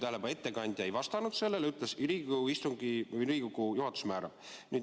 Ma juhin veel kord tähelepanu, et ettekandja ei vastanud sellele küsimusele.